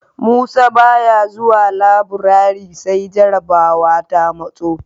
Musa ba ya zuwa labirare sai jarabawa ta matso